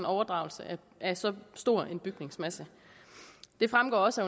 overdragelse af så stor en bygningsmasse det fremgår også